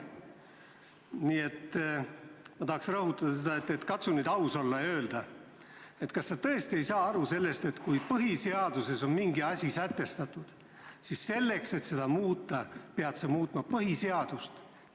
Nii et ma palun, katsu nüüd aus olla ja öelda, kas sa tõesti ei saa aru, et kui põhiseaduses on mingi asi sätestatud, siis selleks, et seda muuta, peab muutma põhiseadust.